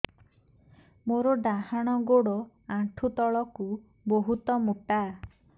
ମୋର ଡାହାଣ ଗୋଡ ଆଣ୍ଠୁ ତଳୁକୁ ବହୁତ ମୋଟା